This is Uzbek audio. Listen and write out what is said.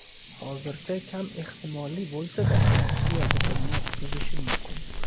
Hozircha kam ehtimolli bo‘lsa-da, Rossiya bitimni buzishi mumkin.